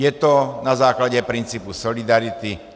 Je to na základě principu solidarity.